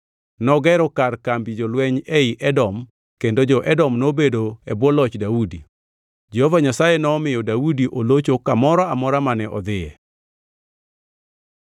Nogero kar kambi jolweny ei Edom kendo jo-Edom nobedo e bwo loch Daudi. Jehova Nyasaye nomiyo Daudi olocho kamoro amora mane odhiye. Jodongo mag Daudi